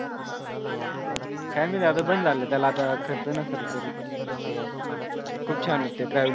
काय माहिती आता बंद झालं त्याला आता खर्च नसल करीत. खूप छान होत ते